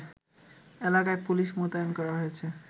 এলাকায় পুলিশ মোতায়েন করা হয়েছে